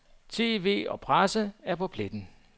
TV og presse er på pletten.